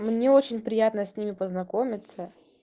мне очень приятно с ними познакомиться